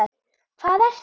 HVAÐ ERTU